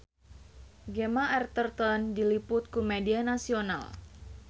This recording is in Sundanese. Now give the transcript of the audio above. Gemma Arterton diliput ku media nasional